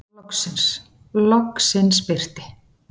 Loksins, loksins birti.